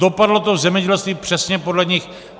Dopadlo to v zemědělství přesně podle nich.